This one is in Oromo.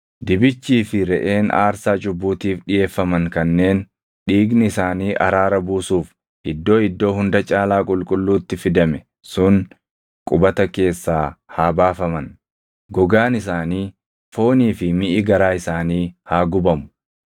Dibichii fi reʼeen aarsaa cubbuutiif dhiʼeeffaman kanneen dhiigni isaanii araara buusuuf Iddoo Iddoo Hunda Caalaa Qulqulluutti fidame sun qubata keessaa haa baafaman; gogaan isaanii, foonii fi miʼi garaa isaanii haa gubamu.